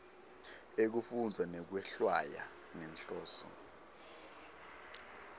ekufundza nekwehlwaya ngenhloso